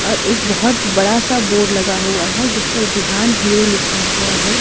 और एक बहुत बड़ा सा बोर्ड लगा हुआ है जिस पर बिहान हीरो लिखा हुआ है।